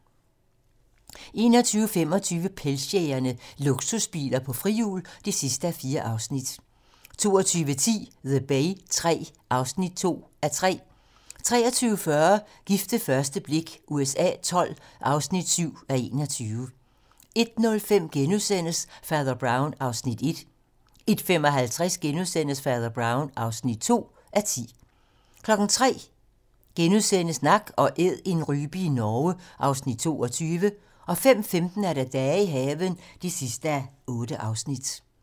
21:25: Pengejægerne - Luksusbiler på frihjul (4:4) 22:10: The Bay III (2:3) 23:40: Gift ved første blik USA XII (7:21) 01:05: Fader Brown (1:10)* 01:55: Fader Brown (2:10)* 03:00: Nak & æd - en rype i Norge (Afs. 22)* 05:15: Dage i haven (8:8)